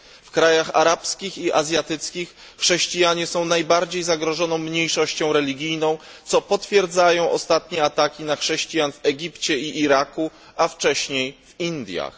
W krajach arabskich i azjatyckich chrześcijanie są najbardziej zagrożoną mniejszością religijną, co potwierdzają ostatnie ataki na chrześcijan w Egipcie i Iraku, a wcześniej w Indiach.